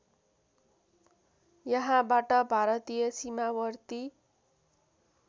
यहाँबाट भारतीय सीमावर्ती